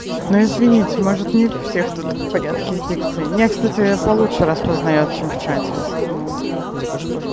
ну извините может не у всех тут в порядке с дикцией меня кстати по лучше распознаёт чем в чате в основном правда